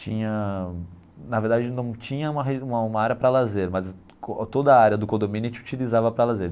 tinha... na verdade não tinha uma re uma uma área para lazer, mas toda a área do condomínio a gente utilizava para lazer.